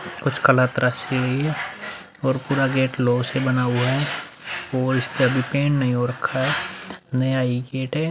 कुछ कला तराशी गई है और पूरा गेट लौह से बना हुआ है और इसपे अभी पेंट नहीं हो रखा है। नया ये गेट है।